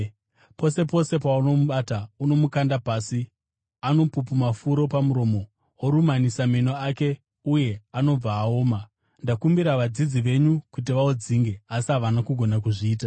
Pose pose paunomubata, unomukanda pasi. Anopupuma furo pamuromo, worumanisa meno ake uye anobva aoma. Ndakumbira vadzidzi venyu kuti vaudzinge asi havana kugona kuzviita.”